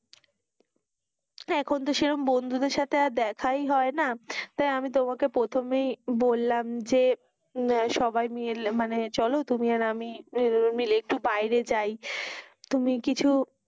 হেঁ, এখন তো সেরকম বন্ধু দের সাথে আর দেখায় হয় না, তাই আমি তোমাকে প্রথমেই বললাম যে হম সবাই মানে চলো তুমি আর আমি মিলে একটু বাইরে যাই, তুমি কিছু,